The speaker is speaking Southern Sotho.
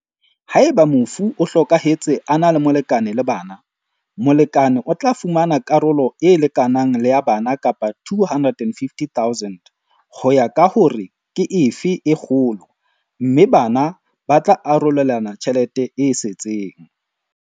Haeba mofu o hlokahetse a na le molekane le bana, molekane o tla fumana karolo e lekanang le ya bana kapa R250 000, ho ya ka hore ke efe e kgolo, mme bana ba tla arolelana tjhelete e setseng.